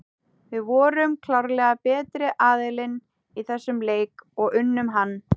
Við vorum klárlega betri aðilinn í þessum leik og unnum hann.